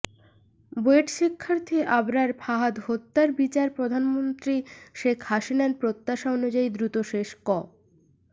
বুয়েট শিক্ষার্থী আবরার ফাহাদ হত্যার বিচার প্রধানমন্ত্রী শেখ হাসিনার প্রত্যাশা অনুযায়ী দ্রুত শেষ ক